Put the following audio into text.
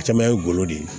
Caman ye n golo de ye